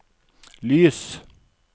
lys